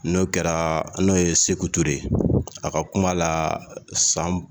N'o kɛra n'o ye Seku Ture ye, a ka kuma la, san